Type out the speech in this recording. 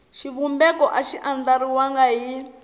xivumbeko a xi andlariwangi hi